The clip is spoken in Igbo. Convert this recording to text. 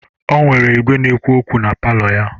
O nwere igwe na-ekwu okwu na palọ ya.